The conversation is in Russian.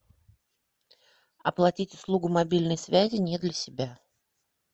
оплатить услугу мобильной связи не для себя